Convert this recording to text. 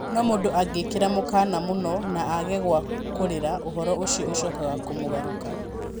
No mũndũ angĩkĩra mũkana mũno na aage gwa kũũrĩra, ũhoro ũcio ũcokaga kũmũgarũka